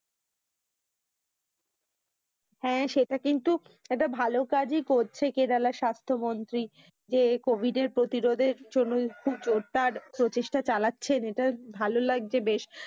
হ্যাঁ, সেটা কিন্তু একটা ভালো কাজ ই করছে কেরালা স্বাস্থ মন্ত্রী যে COVID এর প্রতিরোধের জন্য খুব জোরদার প্রচেষ্টা চালাচ্ছে। এটা ভালো লাগছে বেশ,